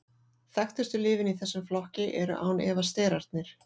þekktustu lyfin í þessum flokki eru án efa sterarnir